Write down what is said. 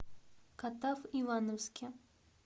катав ивановске